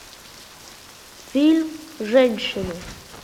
фильм женщины